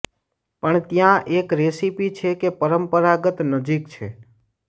પણ ત્યાં એક રેસીપી છે કે પરંપરાગત નજીક છે